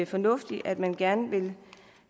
fornuftigt at man gerne vil